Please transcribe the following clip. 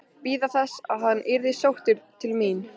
Bíða þess að hann yrði sóttur til mín?